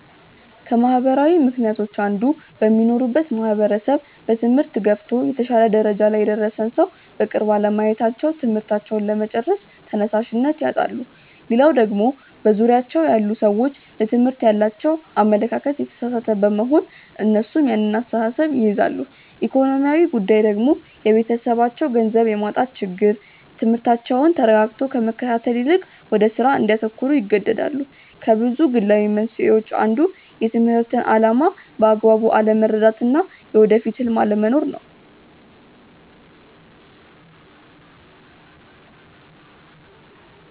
ከማህበራዊ ምክንያቶች አንዱ በሚኖሩበት ማህበረሰብ በትምህርት ገፍቶ የተሻለ ደረጃ ላይ የደረሰን ሰው በቅርብ አለማየታቸው ትምህርታቸውን ለመጨረስ ተነሻሽነት ያጣሉ። ሌላው ደግሞ በዙሪያቸው ያሉ ሰዎች ለትምህርት ያላቸው አመለካከት የተሳሳተ በመሆን እነሱም ያን አስተሳሰብ ይይዛሉ። ኢኮኖሚያዊ ጉዳይ ደግሞ የቤተሰባቸው ገንዘብ የማጣት ችግር ትምህርታቸውን ተረጋግቶ ከመከታተል ይልቅ ወደ ስራ እንዲያተኩሩ ይገደዳሉ። ከብዙ ግላዊ መንስኤዎች አንዱ የትምህርትን አላማ በአግባቡ አለመረዳት እና የወደፊት ህልም አለመኖር ነው።